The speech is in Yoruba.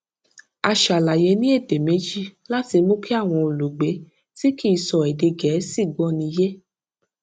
a ṣàlàyé ní èdè méjì láti mú kí àwọn olùgbé tí kì í sọ èdè gèésì gbóni yé